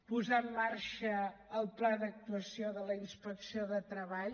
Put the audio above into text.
posar en marxa el pla d’actuació de la inspecció de treball